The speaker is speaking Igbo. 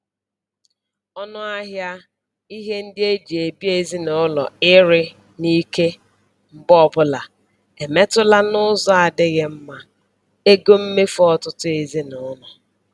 Ọnụahịa ihe ndị eji ebi ezinụlọ ịrị n'ike mgbe ọbụla emetụla n'ụzọ adịghị mma ego mmefu ọtụtụ ezinụlọ.